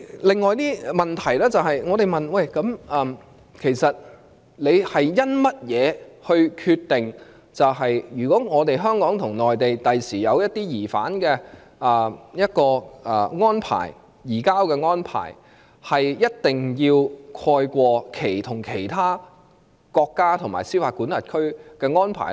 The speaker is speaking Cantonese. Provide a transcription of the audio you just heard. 另一問題是，我們問當局究竟是憑甚麼來決定，如果將來香港與內地訂下一些移交疑犯的安排，這種安排必定要蓋過與其他國家及司法管轄區訂下的安排呢？